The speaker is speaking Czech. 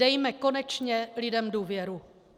Dejme konečně lidem důvěru.